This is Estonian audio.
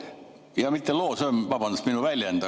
Jaa, mitte loom, vabandust, see on minu väljend.